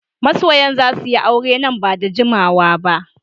Masoyan za su yi aure nan ba da jimawa ba